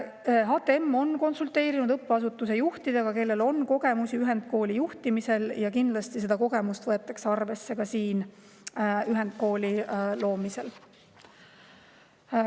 HTM on konsulteerinud õppeasutuse juhtidega, kellel on kogemusi ühendkooli juhtimisega, ja kindlasti võetakse neid kogemusi arvesse ka selle ühendkooli loomisel.